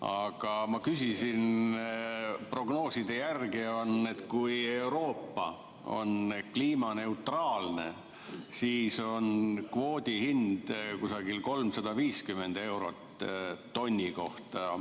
Aga ma küsisin, et prognooside järgi on nii, et kui Euroopa on kliimaneutraalne, siis on kvoodi hind kusagil 350 eurot tonni kohta.